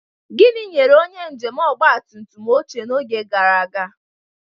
Gịnị nyere onye njem ọgba tum tum oche n'oge gara aga?